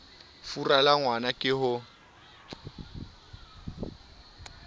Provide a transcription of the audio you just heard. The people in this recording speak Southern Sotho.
fura la ngwna ke ho